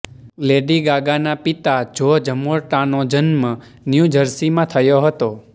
lady ગાગાના પિતા Joe જર્મોટ્ટાનો જન્મ ન્યૂ જર્સીમાં થયો હતો